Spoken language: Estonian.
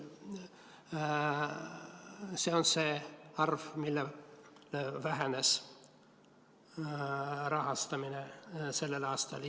See on see arv, kui palju vähenes rahastamine sellel aastal.